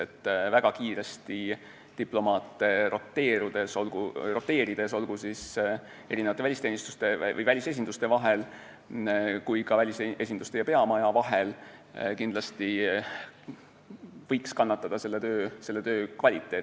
Kui väga kiiresti diplomaate roteerida välisteenistuste või välisesinduste vahel, samuti välisesinduste ja peamaja vahel, siis võib kannatada töö kvaliteet.